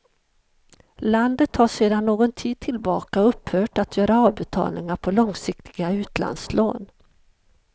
Landet har sedan någon tid tillbaka upphört att göra avbetalningar på långsiktiga utlandslån.